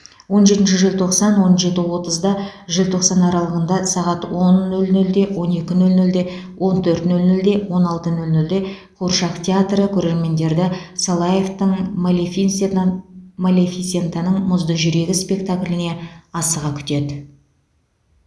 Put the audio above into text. он жетінші желтоқсан он жеті отызда желтоқсан аралығында сағат он нөл нөлде он екі нөл нөлде он төрт нөл нөлде он алты нөл нөлде қуыршақ театры көрермендерді салаевтың малефисентаның мұзды жүрегі спектакліне асыға күтеді